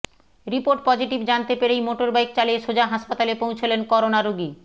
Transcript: report positive জানতে পেরেই motorbike চালিয়ে সোজা হাসপাতালে পৌঁছলেন করোনা রোগী